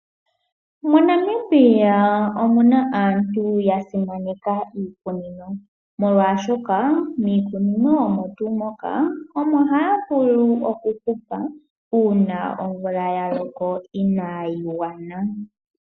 MoNamibia omuna aantu ya simaneka iikunino, molwaashoka miikunino omo tuu moka, omo haya vulu okuhupa uuna omvula ya loko inayi gwana.